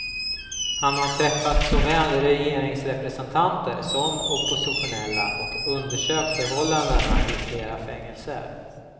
Han har träffat såväl regeringsrepresentanter som oppositionella och undersökt förhållandena i flera fängelser.